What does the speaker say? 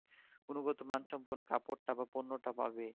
গুণগত মান সম্পন্য কাপড় টা বা পণ্য টা পাবে